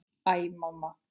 Æ, mamma!